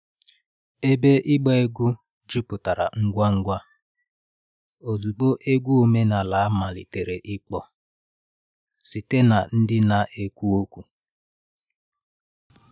Ebe ịgba egwu jupụtara ngwa ngwa ozugbo egwu ọdịnala malitere ịkpọ site na ndị na-ekwu okwu